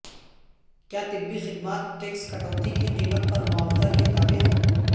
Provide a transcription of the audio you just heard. کیا طبی خدمات ٹیکس کٹوتی کی قیمت پر معاوضہ کے تابع ہیں